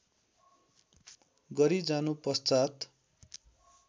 गरी जानु पश्चात्